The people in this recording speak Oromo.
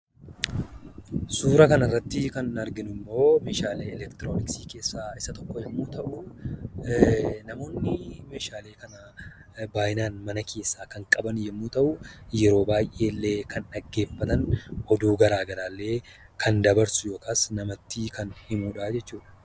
Suuraa kanarratti kan arginu immoo meeshaalee elektirooniksii keessaa isa tokko yommuu ta'u, namoonni meeshaalee kana baay'inaan mana keessaa kan qaban yommuu ta'u, yeroo baay'eellee kan dhaggeeffatan oduu garaagaraallee kan dabarsu yookaas namatti kan himuudha jechuudha.